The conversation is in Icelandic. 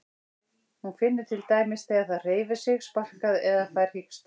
Hún finnur til dæmis þegar það hreyfir sig, sparkar eða fær hiksta.